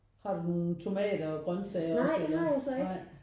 Har du nogen tomater og grøntsager og sådan noget?